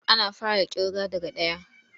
Ana fara ƙirga daga ɗaya.